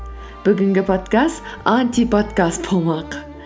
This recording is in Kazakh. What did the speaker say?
бүгінгі подкаст антиподкаст болмақ